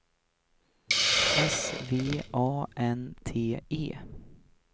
S V A N T E